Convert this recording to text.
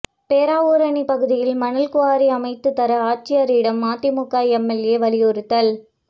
பேராவூரணி பகுதியில் மணல் குவாரி அமைத்து தர ஆட்சியரிடம் அதிமுக எம்எல்ஏ வலியுறுத்தல்